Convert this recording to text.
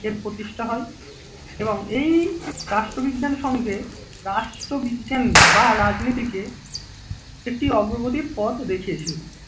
এর প্রতিষ্ঠা হয় এবং এই রাষ্ট্রবিজ্ঞান সংঘে রাষ্ট্রবিজ্ঞান বা রাজনীতিকে একটি অগ্রগতির পথে দেখেয়েছিল।